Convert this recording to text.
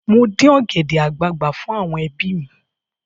Mo dí ọ̀gẹ̀dẹ̀ àgbagbà fún àwọn ẹbí mi.